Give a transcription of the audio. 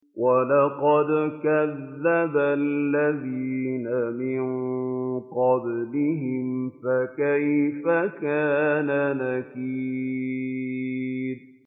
وَلَقَدْ كَذَّبَ الَّذِينَ مِن قَبْلِهِمْ فَكَيْفَ كَانَ نَكِيرِ